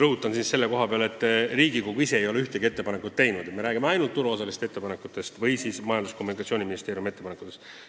Rõhutan siinjuures, et Riigikogu ise ei ole ühtegi ettepanekut teinud, me räägime ainult turuosaliste ning Majandus- ja Kommunikatsiooniministeeriumi ettepanekutest.